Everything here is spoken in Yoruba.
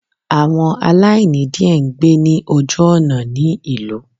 Àwọn aláìní diẹ ngbé ní ojú òná ní ìlú